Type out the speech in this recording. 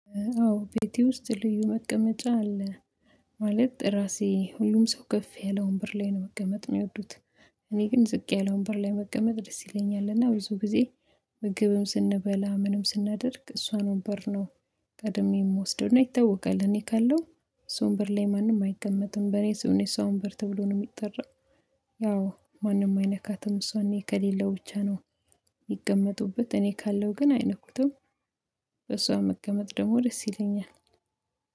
አዎ ቤቴ ውስጥ ልዩ መቀመጫ አለ። ማለት ራሴ ሁሉም ሰው ከፍ ያለ ወንበር ላይ ነው መቀመጥ ሚወዱት። እኔ ግን ዝቅ ያለ ወንበር ላይ መቀመጥ ደስ ይለኛል። እና ብዙ ጊዜ ምግብም ስንበላ፣ ምንም ስናደርግ እሷን ወንበር ነው ቀድሜ የምወስደውና ይታወቃል እኔ ካለው እሷ ወንበር ላይ ማንም አይቀመጥም። በኔ ስም ነው የሷ ወንበር ተብሎ ነው የሚጠራው። ያው ማንም አይነካትም እሷን እኔ ከሌለው ብቻ ነው የሚቀመጡበት፤ እኔ ካለው ግን አይነኩትም። በሷ መቀመጥ ደግሞ ደስ ይለኛል።